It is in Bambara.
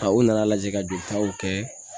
Ka u nana lajɛ ka joli taw kɛ